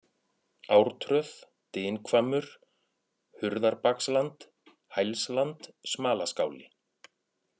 Ártröð, Dynhvammur, Hurðarbaksland, Hælsland Smalaskáli